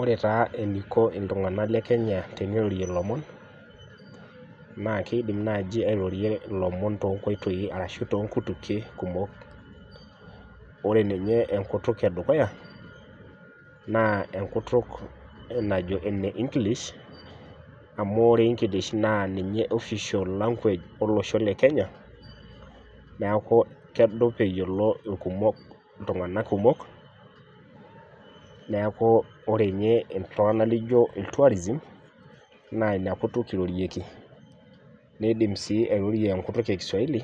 Ore taa eneiko iltunganak teneirorie ilomon naa keidim naji airorie ilomon toonkoitoi ashu toonkutukie kumok .Ore ninye enkutuk edukuya naa enkutuk najo eneenglish amu ore english naa ninye official language olosho lekenya neeku kedup eyiolo irkumok , iltunganak kumok neeku ore nye iltunganak lijo letourism naa ina kutuk irorieki nindim sii airorie enkutuk enkiswaili